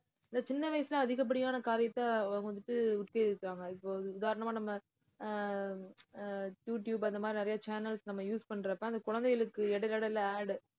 சின்ன வயசுல அதிகப்படியான காரியத்த வ~ வந்துட்டு ஓத்தி வைப்பாங்க இப்ப உதாரணமா நம்ம ஆஹ் ஆஹ் யூடியுப் அந்த மாதிரி நிறைய channels நம்ம use பண்றப்ப அந்த குழந்தைகளுக்கு இடையில இடையில ad உ